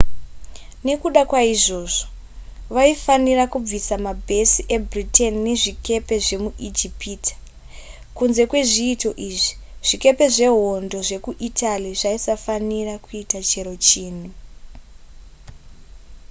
nekuda kwaizvozvo vaifanira kubvisa mabhesi ebritain nezvikepe zvemuijipita kunze kwezviito izvi zvikepe zvehondo zvekuitaly zvaisafanira kuita chero chinhu